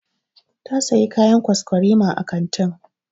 Ta Siya kayan kwaskwarima a kantin.